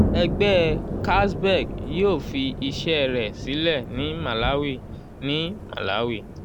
ẹgbẹ́ carlsberg yóò fi iṣẹ́ rẹ̀ sílẹ̀ ní màláwi ní màláwi